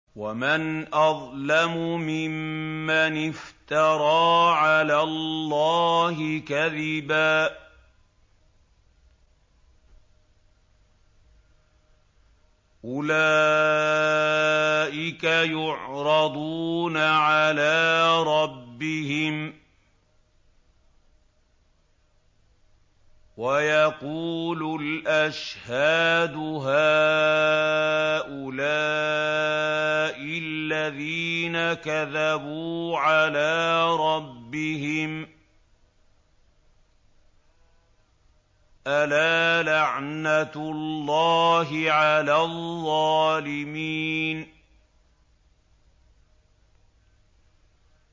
وَمَنْ أَظْلَمُ مِمَّنِ افْتَرَىٰ عَلَى اللَّهِ كَذِبًا ۚ أُولَٰئِكَ يُعْرَضُونَ عَلَىٰ رَبِّهِمْ وَيَقُولُ الْأَشْهَادُ هَٰؤُلَاءِ الَّذِينَ كَذَبُوا عَلَىٰ رَبِّهِمْ ۚ أَلَا لَعْنَةُ اللَّهِ عَلَى الظَّالِمِينَ